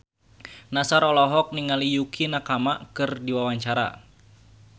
Nassar olohok ningali Yukie Nakama keur diwawancara